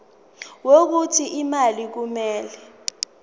wokuthi imali kumele